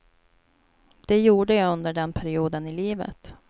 Det gjorde jag under den perioden i livet.